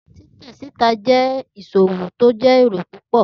Titẹ sita jẹ iṣowo ti o ni ere pupọ